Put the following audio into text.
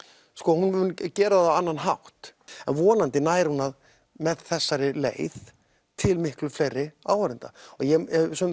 hún mun gera það á annan hátt vonandi nær hún með þessari leið til miklu fleiri áhorfenda ég hef